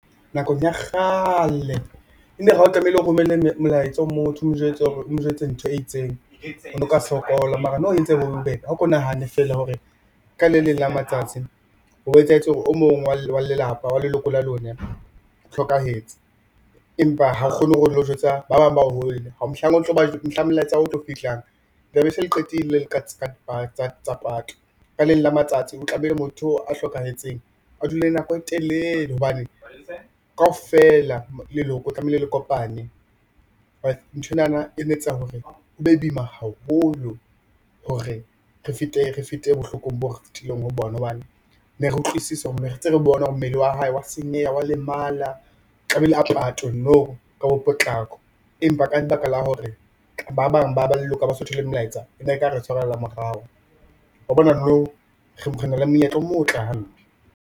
Nakong ya kgale, e ne re ha o tlamehile o romella molaetsa o motho o mo jwetse hore o mo jwetse ntho e itseng, o no ka sokola mara now e entse e be bo bebe, a ko nahane feela hore ka le leng la matsatsi o bo etsahetse hore o mong wa lelapa wa leloko la lona o hlokahetse empa ha o kgone hore o lo jwetsa ba bang ba hole, mohlang molaetsa wa hao o tlo fihlang tlabe se le qetile le ka taba tsa pato ka le leng la matsatsi ho tla be motho oo a hlokahetseng a dule nako e telele hobane kaofela leloko tlamehile le kopane nthwenana ene etsa hore ho be boima haholo hore re fete bohlokong bo re fitileng ho bona, hobane ne re utlwisisa hore ntse re bona hore mmele wa hae wa senyeha wa lemala tlamehile a patwe now, ka bo potlako empa ka lebaka la hore ba bang ba leloko ha baso thole melaetsa e ne ka re tshwarella morao. Wa bona now re na le monyetla o motle hampe.